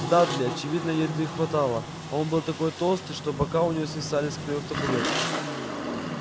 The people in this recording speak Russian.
дадли очевидно еды хватало он был такой толстый что бока у него свисали с краёв табуретки